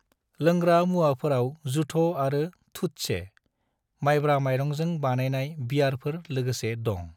लोंग्रा मुवाफोराव जुथ' आरो थुत्से, माइब्रा माइरंजों बानायनाइ बियरफोर लोगोसे दं।